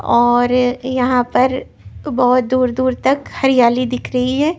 और यहां पर बहुत दूर-दूर तक हरियाली दिख रही है।